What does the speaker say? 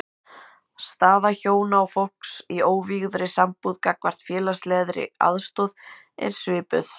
Staða hjóna og fólks í óvígðri sambúð gagnvart félagslegri aðstoð er svipuð.